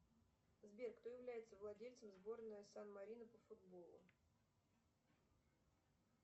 сбер кто является владельцем сборная сан марино по футболу